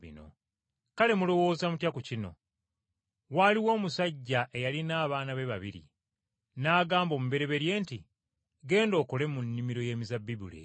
“Kale mulowooza mutya ku kino? Waaliwo omusajja eyalina abaana be babiri, n’agamba omubereberye nti, ‘Genda okole mu nnimiro y’emizabbibu leero.’